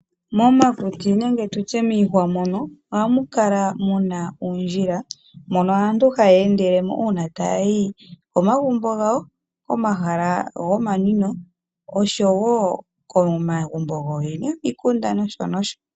Momakuti nenge tutye miihwa mono ohamu kala muna uundjila mono aantu haye endelemo tayayi komagumbo, komahala gomanwinwo osho wo komagumbo yooyene yomikunda nosho nosho.